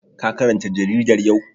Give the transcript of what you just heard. Ka karanta jaridar yau?